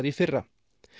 í fyrra